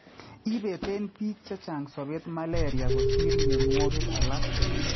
Ipeten piik chechang sobeet malaria kosiir myonwogik alak